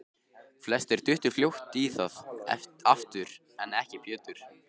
Flestir duttu fljótt í það aftur, en ekki Pétur.